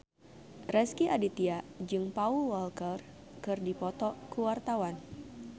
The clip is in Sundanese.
Rezky Aditya jeung Paul Walker keur dipoto ku wartawan